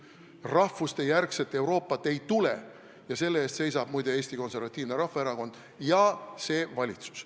Rahvustejärgset Euroopat ei tule ja selle eest seisab, muide, Eesti Konservatiivne Rahvaerakond ja seisab see valitsus.